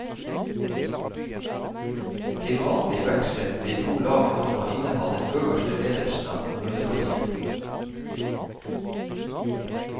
Til vanlig vekslet de to lagene om å inneha den øverste ledelsen av kommunepartiet.